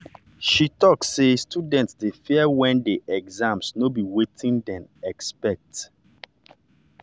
she talk say students dey fear when the questions no be wetin dem expect.